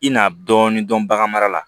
I na dɔɔnin dɔn bagan mara la